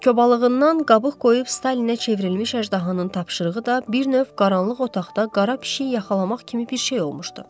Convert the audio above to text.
Kobalığından qabıq qoyub Stalinə çevrilmiş əjdahanın tapşırığı da bir növ qaranlıq otaqda qara pişik yaxalamaq kimi bir şey olmuşdu.